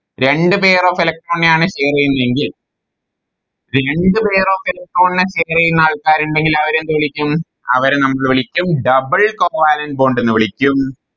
രണ്ട് Pair of electron നെയാണ് Share ചെയ്യുന്നതെങ്കിൽ രണ്ട് Pair of electron നെ Share ആൾക്കാരിണ്ടെങ്കിൽ അവരെന്തുവിളിക്കും അവരെ നമ്മള് വിളിക്കും Double covalent bond എന്ന് വിളിക്കും